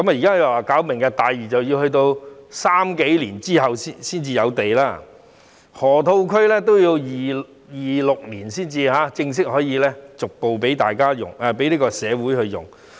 現時說發展"明日大嶼"，但要到2030年後才有土地供應，河套區也要到2026年才正式可以逐步供社會使用。